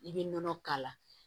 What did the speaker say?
I bɛ nɔnɔ k'a la